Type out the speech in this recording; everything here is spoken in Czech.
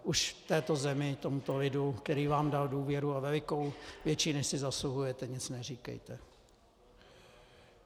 Už této zemi, tomuto lidu, který vám dal důvěru, a velikou, větší, než si zasluhujete, nic neříkejte.